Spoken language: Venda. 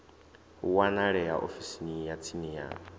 wanalea ofisini ya tsini ya